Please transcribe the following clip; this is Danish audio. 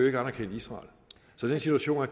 ikke anerkende israel så den situation er